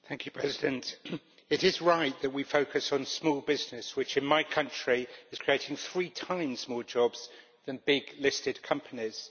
Madam President, it is right that we focus on small business, which in my country is creating three times more jobs than big listed companies.